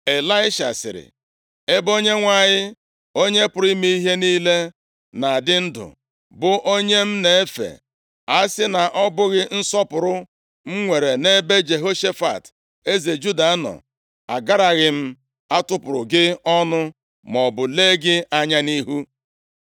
Ịlaisha sịrị, “Ebe Onyenwe anyị, Onye pụrụ ime ihe niile na-adị ndụ, bụ onye m na-efe, a si na ọ bụghị nsọpụrụ m nwere nʼebe Jehoshafat eze Juda nọ, agaraghị m atụpụrụ gị ọnụ maọbụ lee gị anya nʼihu.